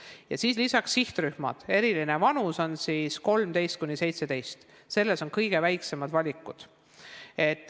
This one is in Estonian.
Lisaks on siin mõned sihtrühmad, eriti vanuses 13–17 on kõige väiksemad valikud.